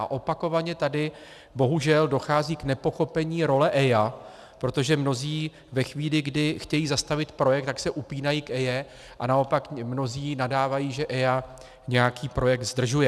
A opakovaně tady bohužel dochází k nepochopení role EIA, protože mnozí ve chvíli, kdy chtějí zastavit projekt, tak se upínají k EIA, a naopak mnozí nadávají, že EIA nějaký projekt zdržuje.